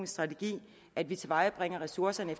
strategi at vi tilvejebringer ressourcerne